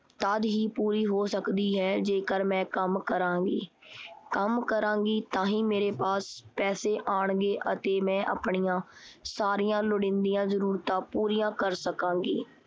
ਤਦ ਹੀ ਪੂਰੀ ਹੋ ਸਕਦੀ ਹੈ ਜੇਕਰ ਮੈਂ ਕੰਮ ਕਰਾਂਗੀ। ਕੰਮ ਕਰਾਂਗੀ ਤਾਂਹੀ ਮੇਰੇ ਪਾਸ ਪੈਸੇ ਆਣਗੇ ਅਤੇ ਮੈਂ ਆਪਣੀਆਂ ਸਾਰੀਆਂ ਲੋੜੀਦੀਆਂ ਲੋੜਾਂ ਪੂਰੀਆਂ ਕਰ ਸਕਾਂਗੀ।